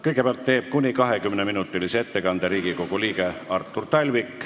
Kõigepealt teeb kuni 20-minutilise ettekande Riigikogu liige Artur Talvik.